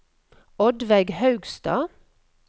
Oddveig Haugstad